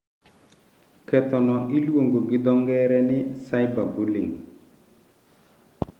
Ketho no iluongo gi dho ngere ni 'cyber bullying'.